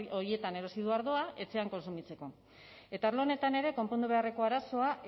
horietan erosi du ardoa etxean kontsumitzeko eta arlo honetan ere konpondu beharreko arazoa